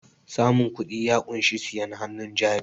samun kudi ya kunshi siyen hannun jari